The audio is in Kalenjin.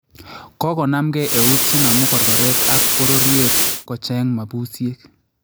kokonamkee ewuut chenamukorkoreet ak borobyeet kocheng� mabsyeek